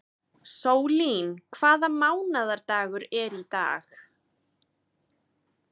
Sólín, hvaða mánaðardagur er í dag?